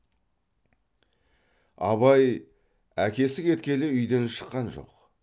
абай әкесі кеткелі үйден шаққан жоқ